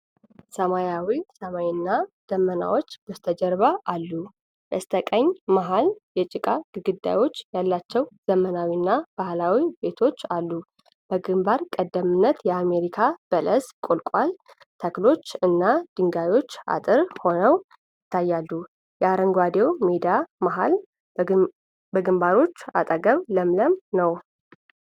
ሰማያዊ ሰማይ እና ደመናዎች በበስተጀርባ አሉ፤ በስተቀኝና መሃል ላይ የጭቃ ግድግዳ ያላቸው ዘመናዊና ባህላዊ ቤቶች አሉ። በግንባር ቀደምትነት የአሜሪካ በለስ (ቁልቋል) ተክሎች እና ድንጋዮች አጥር ሆነው ይታያሉ። የአረንጓዴው ሜዳ መሃል በግንባሮች አጠገብ ለምለም ነው።